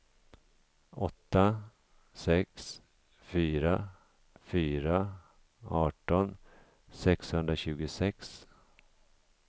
åtta sex fyra fyra arton sexhundratjugosex